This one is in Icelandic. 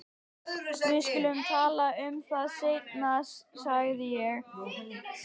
Við skulum tala um það seinna sagði ég.